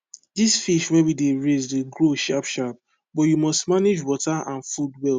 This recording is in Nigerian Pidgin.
this fish wey we dey raise dey grow sharpsharp but you must manage water and food well